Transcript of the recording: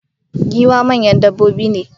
giwaye manyan dabbobi ne